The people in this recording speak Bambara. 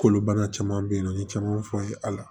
Kolo bana caman be yen nɔ n ye camanw fɔ n ye ala